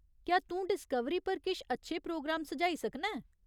क्या तूं डिस्कवरी पर किश अच्छे प्रोग्राम सुझाई सकना ऐं ?